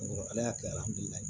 Ala y'a kɛ